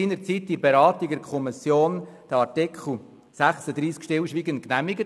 Seinerzeit bei den Beratungen hat die Kommission Artikel 36 stillschweigend genehmigt.